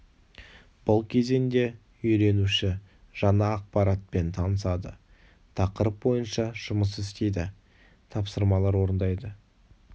бұл кезеңде үйренуші жаңа ақпаратпен танысады тақырып бойынша жұмыс істейді тапсырмалар орындайды